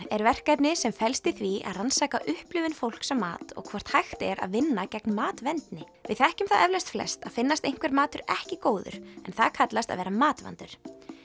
er verkefni sem felst í því að rannsaka upplifun fólks á mat og hvort hægt er að vinna gegn matvendni við þekkjum það eflaust flest að finnast einhver matur ekki góður en það kallast að vera matvandur